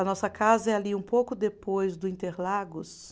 A nossa casa é ali um pouco depois do Interlagos.